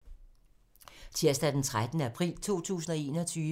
Tirsdag d. 13. april 2021